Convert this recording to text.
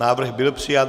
Návrh byl přijat.